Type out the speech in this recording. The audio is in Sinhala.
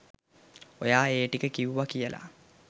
ඔයා ඒ ටික කිව්ව කියලා